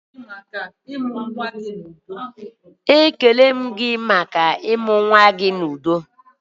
"Ekele maka ọmụmụ nwa gị!"